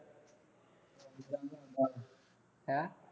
ਹੈਂ